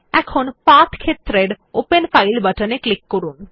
এখন পাথ ক্ষেত্রের open file বাটনে ক্লিক করুন